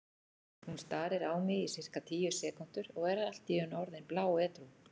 Hún starir á mig í sirka tíu sekúndur og er allt í einu orðin bláedrú.